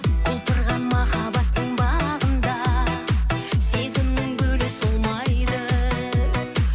құлпырған махаббаттың бағында сезімнің гүлі солмайды